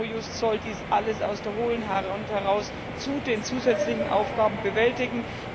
Eurojust soll dies alles aus der hohlen Hand heraus zu den zusätzlichen Aufgaben bewältigen.